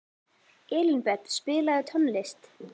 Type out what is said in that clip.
Elínbet, spilaðu tónlist.